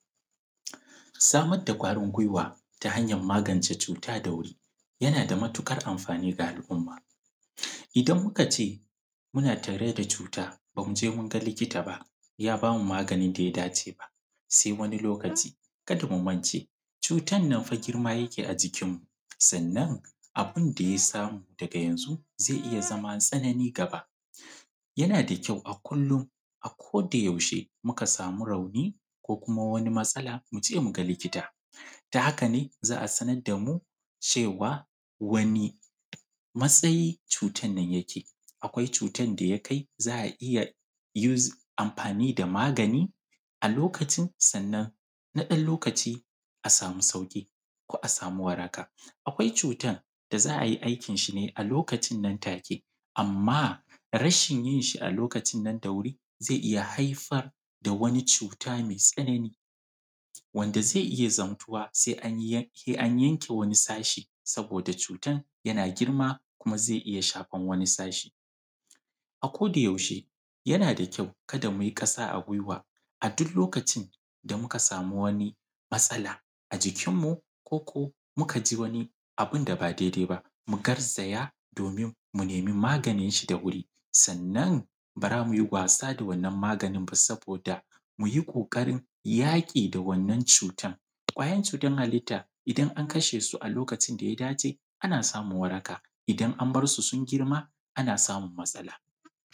Samar da ƙwarin gwiwa da hanyar magance cuta da wuri, yana da matuƙar amfani ga al’umma. Idan muka ce, muna tare da cuta, ba mu je mun ga likita ba ya ba mu magani da ya dace ba, sai wani lokaci, kada mu mance, cutan nan fa girma yake a jikinmu. Sannan abun da ya samu daga yanzu, zai iya zama tsanani gaba. Yana da kyau a kullum, a ko da yaushe muka samu rauni, ko kuma wani matsala, mu je mu ga likita. Ta haka ne za a sanar da mu cewa, wane matsayi cutan nan yake. Akwai cutan da ya kai za a iya use, amfani da magani a lokacin, sannan na ɗan lokaci a samu sauƙi ko a samu waraka. Akwai cutan da za a yi aikinshi ne a lokacin nan take, amma, rashin yin shi a lokacin nan da wuri, zai iya haifar da wani cuta mai tsanani, wanda zai iya zamtuwa sai an yanke wani sashe saboda cutan yana girma, kuma zai iya shafan wani sashe. A ko da yaushe, yana da kyau kada mu yi ƙasa a gwiwa, a duk lokacin da muka samu wani matsala a jikinmu, ko ko muka ji wani abun da ba daidai ba, mu garzaya domin mu nemi maganinshi da wuri. Sannan ba za mu yi wasa da wannan maganin ba saboda mu yi ƙoƙarin yaƙi da wannan cutan. Ƙwayar cutar halitta, idan an kashe su a lokacin da ya dace, ana samun waraka. Idan an bar su sun girma, ana samun matsala.